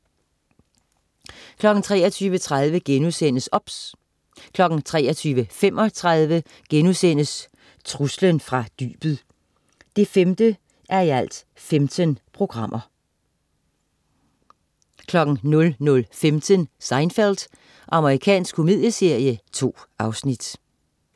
23.30 OBS* 23.35 Truslen fra dybet 5:15* 00.15 Seinfeld. Amerikansk komedieserie. 2 afsnit